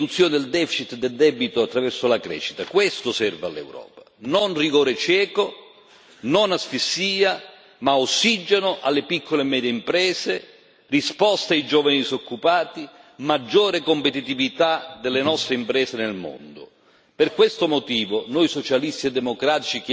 Non rigore cieco, non asfissia, ma ossigeno alle piccole e medie imprese, risposte ai giovani disoccupati, maggiore competitività delle nostre imprese nel mondo. Per questo motivo, noi Socialisti e Democratici chiedemmo al Presidente Juncker di prevedere